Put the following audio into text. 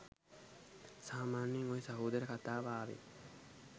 සාමාන්‍යයෙන් ඔය සහෝදර කතාව ආවෙ